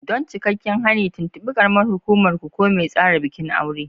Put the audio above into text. Don cikakken hani, tuntuɓi karamar hukumar ku ko mai tsara bikin aure.